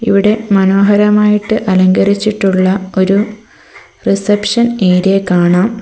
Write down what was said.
ഇവിടെ മനോഹരമായിട്ട് അലങ്കരിച്ചിട്ടുള്ള ഒരു റിസപ്ഷൻ ഏരിയ കാണാം.